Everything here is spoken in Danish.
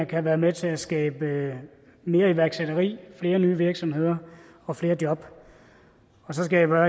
kan være med til at skabe mere iværksætteri flere nye virksomheder og flere job og så skal jeg bare